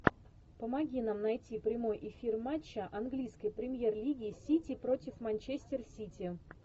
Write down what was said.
помоги нам найти прямой эфир матча английской премьер лиги сити против манчестер сити